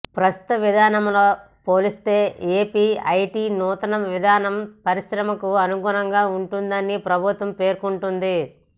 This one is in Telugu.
ప్రస్తుత విధానంతో పోలిస్తే ఏపీ ఐటీ నూతన విధానం పరిశ్రమలకు అనుకూలంగా ఉంటుందని ప్రభుత్వం పేర్కొంటోంది